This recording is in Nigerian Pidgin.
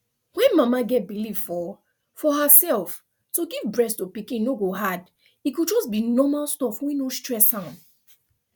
when mama get believe for for herself to give breast to pikin no go hard e go just be normal stuff wey no stress am